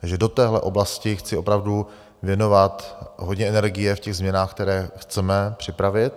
Takže do téhle oblasti chci opravdu věnovat hodně energie v těch změnách, které chceme připravit.